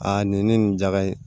Aa nin ne nin jaga in